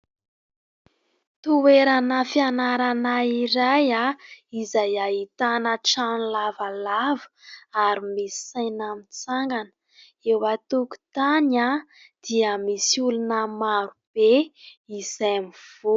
Toerana fianarana iray izay ahitana trano lavalava ary misy saina mitsangana. Eo an-tokontany dia misy olona maro be izay mivory.